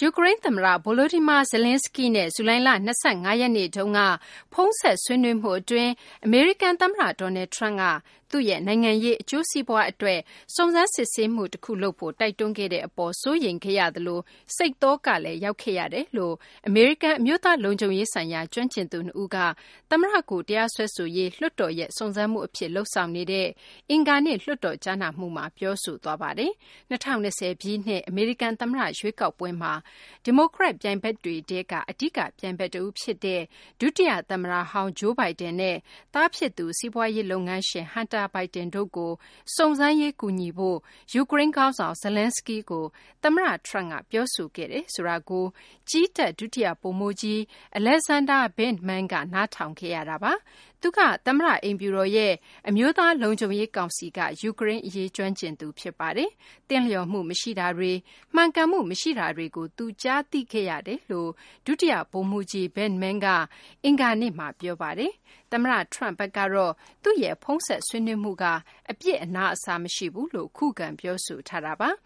ယူကရိန်းသမ္မတ Volodymyr Zelenskiy နဲ့ ဇူလိုင်လ ၂၅ ရက်နေ့တုန်းက ဖုန်းဆက် ဆွေးနွေး မှုအတွင်း အမေရိကန်သမ္မတ Donald Trump က သူ့ရဲ့ နိုင်ငံရေးအကျိုးစီးပွားအတွက် စုံစမ်းစစ်ဆေးမှုတခုလုပ်ဖို့ တိုက်တွန်းခဲ့တဲ့အပေါ် စိုးရိမ်ခဲ့ရသလို စိတ်သောကလည်း ရောက်ခဲ့ရ တယ်လို့ အမေရိကန် အမျိုးသားလုံခြုံရေးဆိုင်ရာ ကျွမ်းကျင်သူနှစ်ဦးက သမ္မတကို တရားစွဲဆိုရေး လွှတ်တော်ရဲ့ စုံစမ်းမှုအဖြစ် လုပ်ဆောင်နေတဲ့ အင်္ဂါနေ့ လွှတ်တော် ကြားနာမှုမှာ ပြောဆိုသွားပါတယ်။ ၂၀၂၀ ပြည့်နှစ် အမေရိကန်သမ္မတရွေးကောက်ပွဲမှာ ဒီမိုကရက်ပြိုင်ဘက်တွေထဲက အဓိက ပြိုင်ဘက်တဦးဖြစ်တဲ့ ဒုတိယသမ္မတဟောင်း Joe Biden နဲ့ သားဖြစ်သူ စီးပွားရေးလုပ်ငန်းရှင် Hunter Biden တို့ကို စုံစမ်းရေး ကူညီပေးဖို့ ယူကရိန်းခေါင်းဆောင် Zelenskiy ကို သမ္မတ Trump က ပြောဆိုခဲ့တယ်ဆိုတာကို ကြည်းတပ် ဒုတိယဗိုလ်မှူးကြီး Alexander Vindman က နားထောင်ခဲ့ရတာပါ။ သူက သမ္မတအိမ်ဖြူတော်ရဲ့ အမျိုးသားလုံခြုံရေးကောင်စီက ယူကရိန်းအရေးကျွမ်းကျင်သူ ဖြစ်ပါတယ်။ “သင့်လျော်မှုမရှိတာတွေ” “မှန်ကန်မှုမရှိတာတွေ” ကို သူကြားသိခဲ့ရတယ်လို့ ဒုတိယဗိုလ်မှူးကြီး Vindman က အင်္ဂါနေ့မှာ ပြောဆိုပါတယ်။ သမ္မတ Trump ဘက်ကတော့ သူ့ရဲ့ဖုန်းဆက်ဆွေးနွေးမှုက အပြစ်အနာအဆာမရှိဘူးလို့ ခုခံ ပြောဆိုထားတာပါ။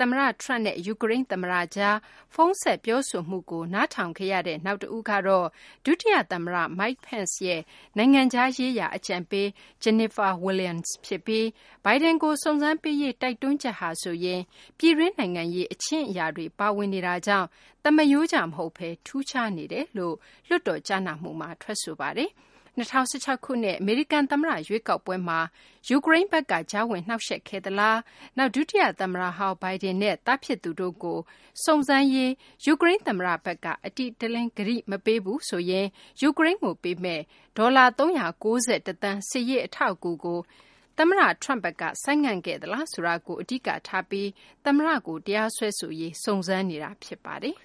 သမ္မတ Trump နဲ့ ယူကရိန်းသမ္မတကြား ဖုန်းဆက် ပြောဆိုမှုကို နားထောင်ခဲ့ရသူ နောက်တဦးကတော့ ဒုတိယသမ္မတ Mike Pence ရဲ့ နိုင်ငံခြားရေးရာ အကြံပေး Jennifer Williams ဖြစ်ပြီး Biden ကို စုံစမ်းပေးရေး တိုက်တွန်းချက်ဟာဆိုရင် ပြည်တွင်းနိုင်ငံရေး အချင်းအရာတွေ ပါဝင်နေတာကြောင့် သမားရိုးကျမဟုတ်ဘဲ ထူးခြားနေတယ်လို့ လွှတ်တော် ကြားနာမှုမှာ ထွက်ဆိုခဲ့ပါတယ်။ ၂၀၁၆ ခုနှစ် အမေရိကန်သမ္မတရွေးကောက်ပွဲမှာ ယူကရိန်းဘက်က ကြားဝင်နှောင့်ယှက်ခဲ့ သလား၊ နောက် ဒုတိယသမ္မတဟောင်း Biden နဲ့ သားဖြစ်သူတို့ကို စုံစမ်းရေး ယူကရိန်း သမ္မတဘက်က အတိအလင်း ကတိမပေးရင် ယူကရိန်းကိုပေးမယ့် ဒေါ်လာ ၃၉၁ သန်း စစ်ရေး အထောက်အကူကို သမ္မတ Trump က ဆိုင်းငံ့ခဲ့သလားဆိုတာကို အဓိကထားပြီး သမ္မတကို တရားစွဲဆိုရေး စုံစမ်းနေတာဖြစ်ပါတယ်